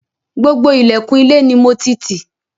Gbogbo ilẹ̀kùn ilé ni mo ti tì.